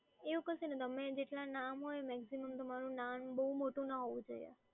એવું કશું નથી, તમે જેટલાં નામ હોય maximum તમારું નામ બહુ મોટું ના હોવું જોઈએ.